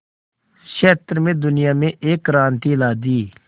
क्षेत्र में दुनिया में एक क्रांति ला दी